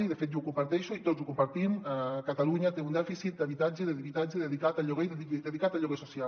i de fet jo ho comparteixo i tots ho compartim catalunya té un dèficit d’habitatge dedicat al lloguer i dedicat al lloguer social